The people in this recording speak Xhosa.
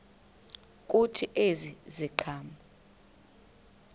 kuthi ezi ziqhamo